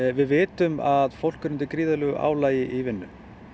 við vitum að fólk er undir gríðarlegu álagi í vinnu